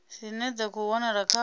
dzine dza khou wanala kha